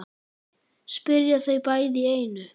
spyrja þau bæði í einu.